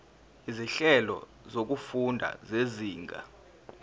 izinhlelo zokufunda zezinga